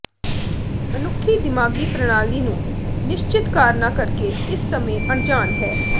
ਮਨੁੱਖੀ ਦਿਮਾਗੀ ਪ੍ਰਣਾਲੀ ਨੂੰ ਨਿਸ਼ਚਿਤ ਕਾਰਨਾਂ ਕਰਕੇ ਇਸ ਸਮੇਂ ਅਣਜਾਣ ਹੈ